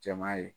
Jama ye